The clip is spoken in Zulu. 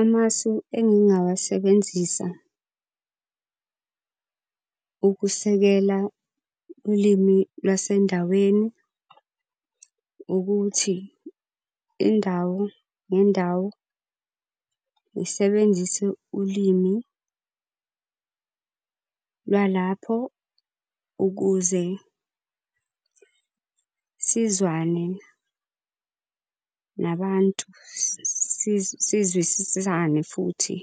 Amasu engingawasebenzisa ukusekela ulimi lwasendaweni ukuthi indawo ngendawo ngisebenzise ulimi lwalapho ukuze sizwane nabantu sizwisisane futhi.